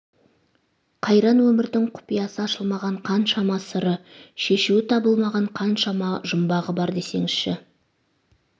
қайран өмірдің құпиясы ашылмаған қаншама сыры шешуі табылмаған қаншама жұмбағы бар десеңізші